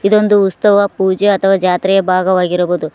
ಇದೊಂದು ಉತ್ಸವ ಪೂಜೆ ಅಥವಾ ಜಾತ್ರೆಯ ಭಾಗವಾಗಿರಬಹುದು.